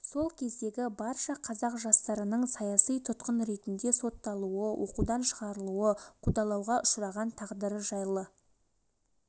сол кездегі барша қазақ жастарының саяси тұтқын ретінде сотталуы оқудан шығарылуы қудалауға ұшыраған тағдыры жайлы